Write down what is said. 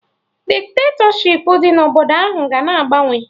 Dikitatọshipụ dị na obodo ahụ ga na agbanwe